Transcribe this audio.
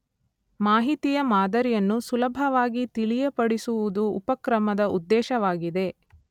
ಮಾಹಿತಿಯ ಮಾದರಿಯನ್ನು ಸುಲಭವಾಗಿ ತಿಳಿಯಪಡಿಸುವುದು ಉಪಕ್ರಮದ ಉದ್ದೇಶವಾಗಿದೆ.